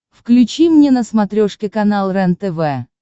включи мне на смотрешке канал рентв